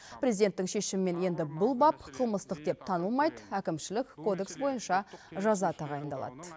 президенттің шешімімен енді бұл бап қылмыстық деп танылмайды әкімшілік кодекс бойынша жаза тағайындалады